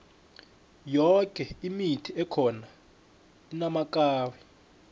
yoke imithi ekhona inamakari